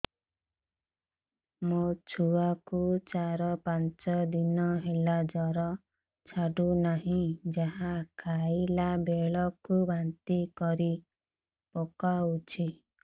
ମୋ ଛୁଆ କୁ ଚାର ପାଞ୍ଚ ଦିନ ହେଲା ଜର ଛାଡୁ ନାହିଁ ଯାହା ଖାଇଲା ବେଳକୁ ବାନ୍ତି କରି ପକଉଛି